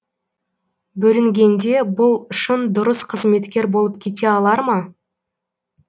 бөрінгенде бұл шын дұрыс қызметкер болып кете алар ма